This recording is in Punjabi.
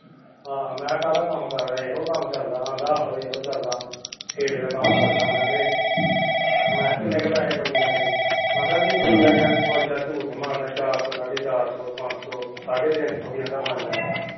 ਹਾਂ ਮੈਂ ਕਿਹਾ ਕਾਹਦਾ ਕੰਮ ਕਰਦਾ ਇਹੋ ਕੰਮ ਚਲਦਾ ਕਹਿੰਦਾ ਆਹੋ ਇਹੋ ਚਲਦਾ ਫੇਰੇ ਦਾ ਕੰਮ ਕਰਦਾ ਮੈਂ ਤੇ ਮੈਂ ਕਿਹਾ ਕਿੰਨੇ ਕੁ ਪੈਸੇ ਬਣੀ ਜਾਂਦੇ ਕਹਿੰਦਾ ਵੀਰ ਕਿ ਰੁਪਇਆ ਯਾਰ ਬਸ ਝੂਠ ਨਹੀਂ ਮਾਰਦਾ ਚਾਰ ਸੋ ਸਾਡੇ ਚਾਰ ਸੋ ਪੰਜ ਸੋ ਸਾਡੇ ਤਿੰਨ ਸੋ ਵੀ ਕਹਿੰਦਾ ਬਣ ਜਾਂਦਾ ਹੈ